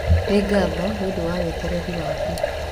Nĩ ngatho nĩ ũndũ wa wetereri waku.